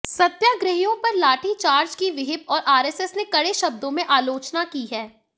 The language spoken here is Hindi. सत्याग्रहियों पर लाठीचार्ज की विहिप और आरएसएस ने कड़े शब्दों में आलोचना की है